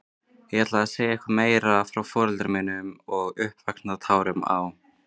Ég ætla að segja ykkur meira frá foreldrum mínum og uppvaxtarárunum á